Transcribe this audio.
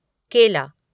केला